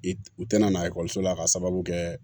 U tɛna na ekɔliso la k'a sababu kɛ